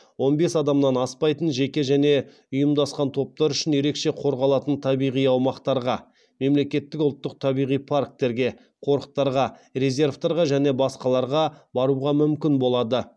он бес адамнан аспайтын жеке және ұйымдасқан топтар үшін ерекше қорғалатын табиғи аумақтарға баруға мүмкін болады